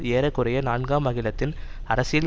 ஏற குறைய நான்காம் அகிலத்தின் அரசியல்